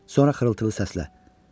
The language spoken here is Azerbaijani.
Sonra xırıltılı səslə.